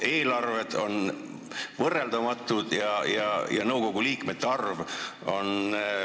Eelarved on võrreldamatud, aga nõukogu liikmete arv ...